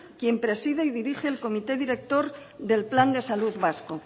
quien preside y dirige el comité director del plan de salud vasco